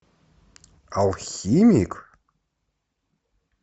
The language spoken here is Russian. алхимик